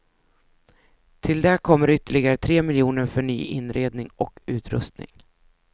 Till det kommer ytterligare tre miljoner för ny inredning och utrustning.